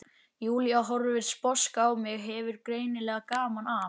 Júlía horfir sposk á mig, hefur greinilega gaman af.